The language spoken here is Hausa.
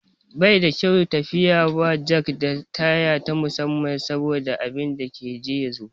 Baida kyau tafiya ba jak da taya na musamman saboda abinda ka je ya zo.